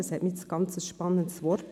Das dünkt uns ein sehr spannendes Wort.